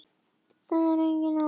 Það er engin áhætta.